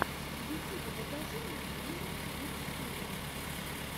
в ютюбе покажи мне диму кидс ти ви